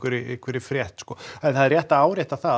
einhverri frétt en það er rétt að árétta það